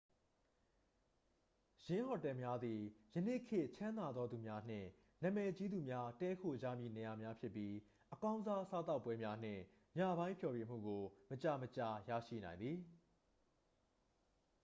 """ယင်းဟိုတယ်များသည် ယနေ့ခေတ် ချမ်းသာသူများနှင့် နာမည်ကြီးသူများ တည်းခိုကြမည့်နေရာများဖြစ်ပြီး အကောင်းစား စားသောက်ပွဲများနှင့် ညပိုင်းဖျော်ဖြေမှုကို မကြာမကြာ ရရှိနိုင်သည်။""